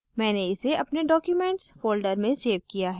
मैंने इसे अपने documents folder में सेव किया है